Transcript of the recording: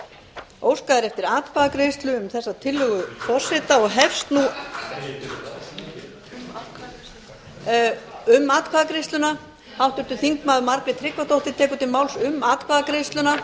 já óskað er eftir atkvæðagreiðslu um þessa tillögu forseta og hefst nú um atkvæðagreiðsluna háttvirtir þingmenn margrét tryggvadóttir tekur til máls um atkvæðagreiðsluna